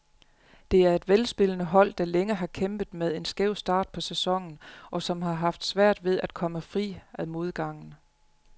Det er velspillende hold, der længe har kæmpet med en skæv start på sæsonen, og som har haft svært ved at komme fri af modgangen.